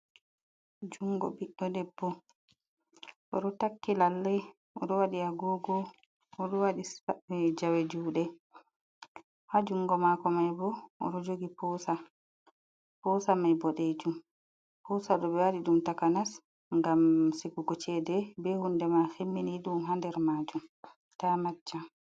Juungo ɓiɗɗo debbo oɗo taki lallai wadi agogo oɗo waɗi sae jawe jude ha jungo mako mai bo oro jogi potsa mai bo dejum husa dobe wadi dum takanas gam sigugo chede be hunde ma himmini dum hander majum ta acca